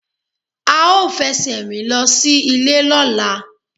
A ó fẹsẹ̀ rìn lọ sí ìlé lọ́la